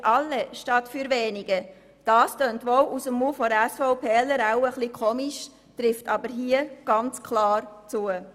Für alle statt für wenige», das klingt wohl aus dem Mund einer SVPlerin etwas ungewohnt, trifft aber hier ganz klar zu.